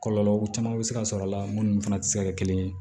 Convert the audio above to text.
Kɔlɔlɔ caman bɛ se ka sɔrɔ a la minnu fana tɛ se ka kɛ kelen ye